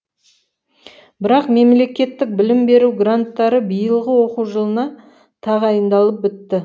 бірақ мемлекеттік білім беру гранттары биылғы оқу жылына тағайындалып бітті